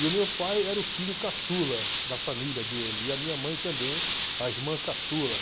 E o meu pai era o filho caçula da família dele e a minha mãe também, a irmã caçula.